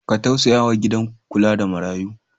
Ka tausaya wa gidan kula da marayu.